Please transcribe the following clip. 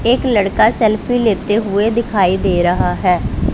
एक लड़का सेल्फी लेते हुए दिखाई दे रहा है।